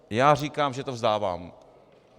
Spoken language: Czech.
Já říkám, že to vzdávám.